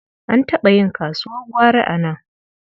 An taɓa yin kasuwar gwari a nan.